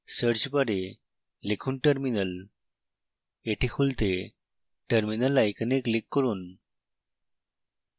search bar লিখুন terminal